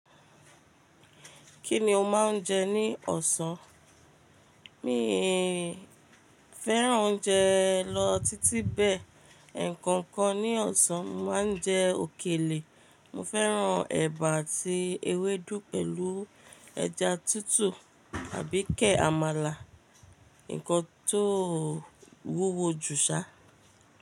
Kí ni o máa ń jẹ ní ọ̀sán? Mii fẹ́ràn oúnjẹ lọ títí bẹ́ẹ̀. Ǹkankan ní ọ̀sán, mo máa ń jẹ òkèlè. Mo fẹ́ràn ẹ̀bà àti ewédú pẹ̀lú ẹja tútù àbí kẹ̀ àmàlà. Ǹkan tó wúwo jù ṣá.